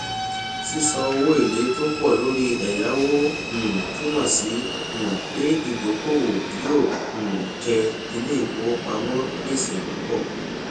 sísan owó èlé tó pọ lórí ẹyáwó um túmọ sí um pé ìdókòwò yóò um jẹ iléìfowópamọ gbèsè púpọ